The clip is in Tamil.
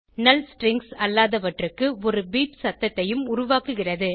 நல் ஸ்ட்ரிங்ஸ் அல்லாதவற்றுக்கு ஒரு பீப் சத்தத்தையும் உருவாக்குகிறது